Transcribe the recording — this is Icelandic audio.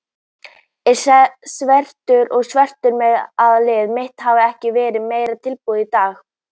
Ég er svekktur, svekktur með að liðið mitt hafi ekki verið meira tilbúið í dag.